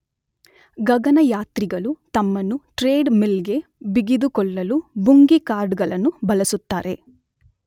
ಗಗನಯಾತ್ರಿಗಳು ತಮ್ಮನ್ನು treadmill ಗೆ ಬಿಗಿದುಕೊಳ್ಳಲು ಬುಂಗೀ ಕಾರ್ಡ್ ಗಳನ್ನು ಬಳಸುತ್ತಾರೆ.